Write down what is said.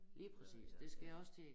Lige præcis det skal jeg også til